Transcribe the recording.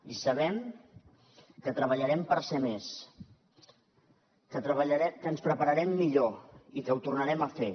i sabem que treballarem per ser més que ens prepararem millor i que ho tornarem a fer